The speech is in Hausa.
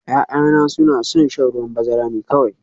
Ya'yana suna son shan ruwan bazara ne kawai